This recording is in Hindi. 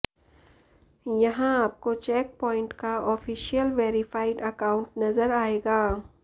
यहां आपको चेकपॉइंट का ऑफिशियल वेरिफाइड अकाउंट नजर आएगा